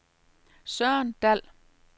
Søren Dall